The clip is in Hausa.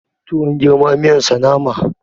Tuwon girma miyan sa nama